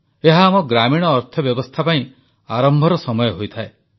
ଏହା ଆମ ଗ୍ରାମୀଣ ଅର୍ଥବ୍ୟବସ୍ଥା ପାଇଁ ଆରମ୍ଭର ସମୟ ହୋଇଥାଏ